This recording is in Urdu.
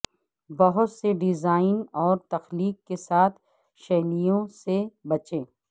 بہت سے ڈیزائن اور تخلیق کے ساتھ شیلیوں سے بچیں